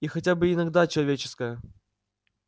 и хотя бы иногда человеческая